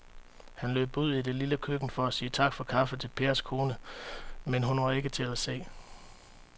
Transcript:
Han løb ud i det lille køkken for at sige tak for kaffe til Pers kone, men hun var ikke til at se.